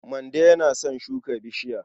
Mande yana son shuka bishiya.